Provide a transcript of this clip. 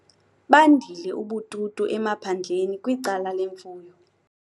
Bandile ubututu emaphandleni kwicala lemfuyo.